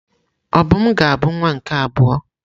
Obum ga-abụ nwa nke abụọ?